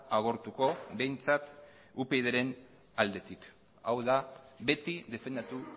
agortuko behintzat upydren aldetik hau da beti defendatu